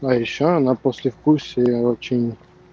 а ещё она послевкусие очень